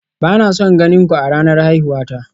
Ba na son ganin ku a ranar haihuwa ta